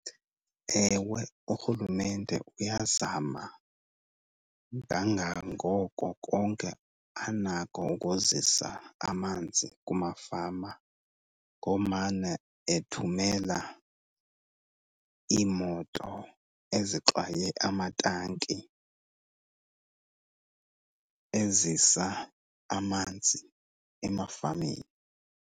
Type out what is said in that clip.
Ewe, urhulumente uyazama kangangoko konke anako ukuzisa amanzi kumafama, ngomane ethumela iimoto ezixwaye amatanki ezisa amanzi emafameni.